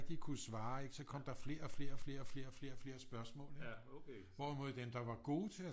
Rigtig kunne svare så kom der flere og flere og flere og flere spørgsmål ikke hvorimod dem der var gode til at